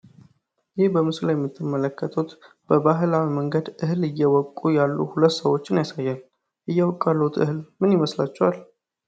ይህ በምስሉ ላይ የምትመለከቱት በባህላዊ መንገድ እህል እየወቁ ያሉ ሁለት ሰዎችን ያሳያል። እየወቁ ያሉት እህል ምን ይመስላችኋል?